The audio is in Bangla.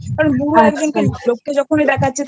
Issues আস্তে পারে আচ্ছা কারণ বুড়ো একজন লোককে যখন দেখাচ্ছে